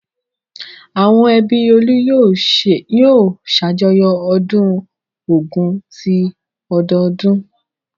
Àwọn ẹbí Olú yóò ṣàjọyọ̀ ọdún Ògún ti ọdọọdún.